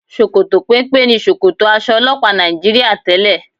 Ṣòkòtò péńpé ni ṣòkòtò aṣọ ọlọ́pàá Nàìjííríà tẹ́lẹ̀